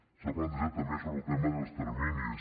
s’ha plantejat també sobre el tema dels terminis